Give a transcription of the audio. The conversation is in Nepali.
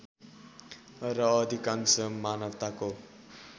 र अधिकांश मानवताको